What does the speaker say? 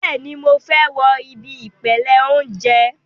Bẹ́ẹ̀ni, mo fẹ́ wo ibi ìpele óúnjẹ